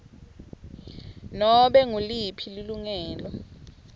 nobe nguliphi lilungelo